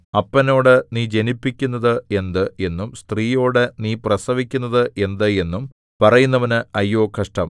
അപ്പനോട് നീ ജനിപ്പിക്കുന്നത് എന്ത് എന്നും സ്ത്രീയോട് നീ പ്രസവിക്കുന്നത് എന്ത് എന്നും പറയുന്നവനു അയ്യോ കഷ്ടം